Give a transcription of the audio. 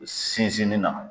Sinzinni na.